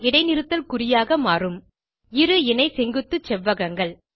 இடைநிறுத்தல் குறியாக மாறும் இரு இணை செங்குத்து செவ்வகங்கள்